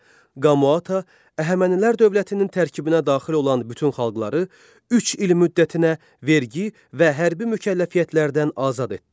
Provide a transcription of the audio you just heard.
Qamaata Əhəmənilər dövlətinin tərkibinə daxil olan bütün xalqları üç il müddətinə vergi və hərbi mükəlləfiyyətlərdən azad etdi.